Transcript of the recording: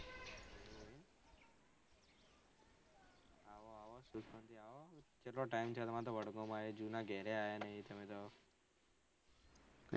ચેટલો time થયો તમને તો વડગામ આયે જુના ઘેર એ આયા નહી તમે તો